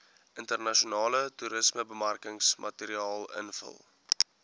internasionale toerismebemarkingsmateriaal invul